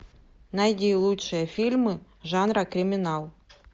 найди лучшие фильмы жанра криминал